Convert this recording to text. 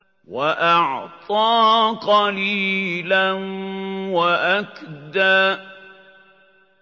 وَأَعْطَىٰ قَلِيلًا وَأَكْدَىٰ